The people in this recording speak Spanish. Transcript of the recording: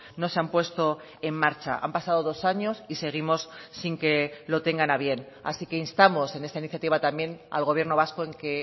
no se han puesto en marcha han pasado dos años y seguimos sin que lo tengan a bien así que instamos en esta iniciativa también al gobierno vasco en que